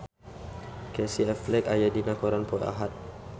Casey Affleck aya dina koran poe Ahad